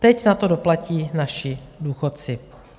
Teď na to doplatí naši důchodci.